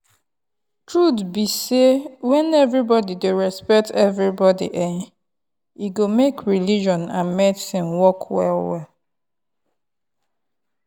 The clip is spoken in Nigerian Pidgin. truth be sey when everybody respect everybody[um]e go make religion and medicine work well well